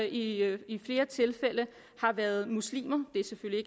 i i flere tilfælde har været muslimer det er selvfølgelig